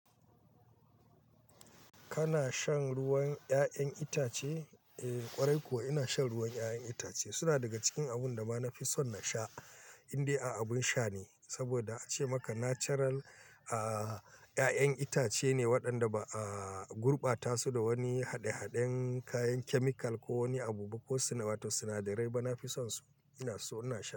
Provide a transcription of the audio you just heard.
Kana shan ruwan 'ya'yan itace? Eh ƙwarai kuwa ina shan ruwan 'ya'yan itace. Suna daga cikin abun da ma na fi son na sha indai a abun sha ne, saboda a ce maka natural, aaaa 'ya'yan itace ne waɗanda ba aaaa gurbata su da wani haɗe-haɗen kayan chemical ko wani abu ba ko sinadarai. Ba na fi sonsu, ina so ina sha.